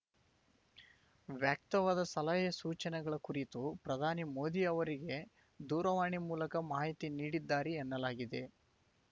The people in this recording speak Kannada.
ವ್ಯಕ್ತವಾದ ಸಲಹೆ ಸೂಚನೆಗಳ ಕುರಿತು ಪ್ರಧಾನಿ ಮೋದಿ ಅವರಿಗೆ ದೂರವಾಣಿ ಮೂಲಕ ಮಾಹಿತಿ ನೀಡಿದ್ದಾರೆ ಎನ್ನಲಾಗಿದೆ